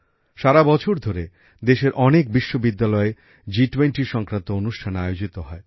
সারা বছর ধরে দেশের অনেক বিশ্ববিদ্যালয়ে জি20 সংক্রান্ত অনুষ্ঠান আয়োজিত হয়